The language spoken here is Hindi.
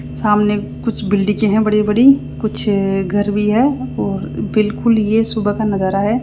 सामने कुछ बिल्डिंगे है बड़ी बड़ी कुछ घर भी है और बिल्कुल ये सुबह का नजारा है।